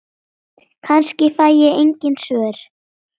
Kannski fæ ég engin svör.